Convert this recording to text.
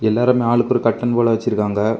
எல்லாருமே ஆளுக்கு ஒரு கட்டன் போல வச்சிருக்காங்க.